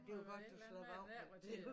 Det var godt du slap af med det